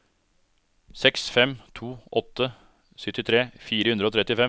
seks fem to åtte syttitre fire hundre og trettifem